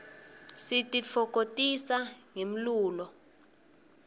sititfokotisa ngemlulo